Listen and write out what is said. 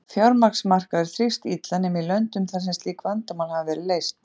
Fjármagnsmarkaður þrífst illa nema í löndum þar sem slík vandamál hafa verið leyst.